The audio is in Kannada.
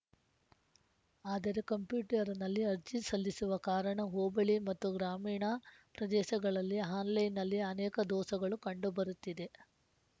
ಆದರೆ ಕಂಪ್ಯೂಟರ್‌ನಲ್ಲಿ ಅರ್ಜಿ ಸಲ್ಲಿಸುವ ಕಾರಣ ಹೋಬಳಿ ಮತ್ತು ಗ್ರಾಮೀಣ ಪ್ರದೇಸಗಳಲ್ಲಿ ಆನ್‌ಲೈನ್‌ ನಲ್ಲಿ ಅನೇಕ ದೋಸಗಳು ಕಂಡುಬರುತ್ತಿದೆ